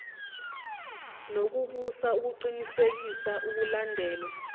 nokubusa ukuqinisekisa ukulandelwa